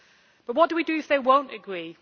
But what do we do if they will not agree?